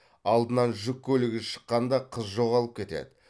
алдынан жүк көлігі шыққанда қыз жоғалып кетеді